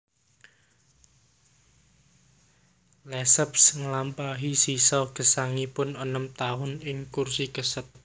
Lesseps nglampahi sisa gesangipun enem taun ing kursi kesèt